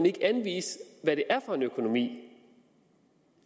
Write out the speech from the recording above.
ikke vil anvise hvad det er for en økonomi det